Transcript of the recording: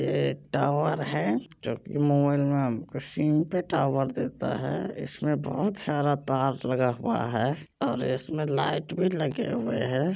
ये टावर है जो की मोबाइल मे सिम पे टावर देता हैइसमे बहुत सारा तार लगा हुआ है और इसमे लाइट भी लगें हुए है।